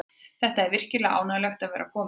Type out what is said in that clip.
Það er virkilega ánægjulegt að vera kominn hingað.